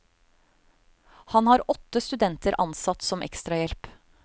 Han har åtte studenter ansatt som ekstrahjelp.